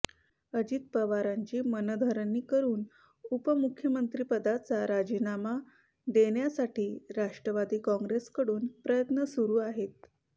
अजित पवारांची मनधरणी करुन उपमुख्यमंत्रिपदाचा राजीनामा देण्यासाठी राष्ट्रवादी काँग्रेसकडून प्रयत्न सुरु आहेत